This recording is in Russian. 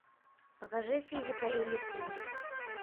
покажи физика или химия